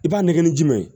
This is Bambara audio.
I b'a nɛgɛ ni jumɛn ye